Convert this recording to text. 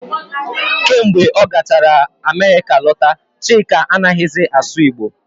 Kemgbe ọ gachara Amerịka lọta, Chike anaghị zi asụ Igbo